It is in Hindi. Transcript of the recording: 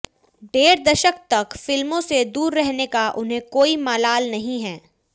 डेढ़ दशक तक फिल्मों से दूर रहने का उन्हें कोई मलाल नहीं है